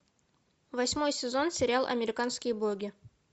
восьмой сезон сериал американские боги